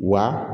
Wa